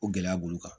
O gɛlɛya b'olu kan